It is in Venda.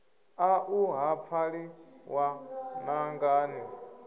aṋu ha pfali ṅwananga ni